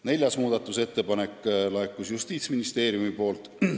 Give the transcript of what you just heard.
Kolmas muudatusettepanek laekus Justiitsministeeriumilt.